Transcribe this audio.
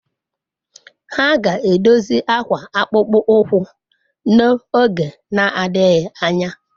Ha ga-edozi akwa akpụkpọ ụkwụ n'oge na-adịghị anya.